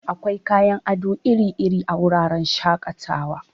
Akwai kayan ado iri-iri a wuraren shaƙatawa.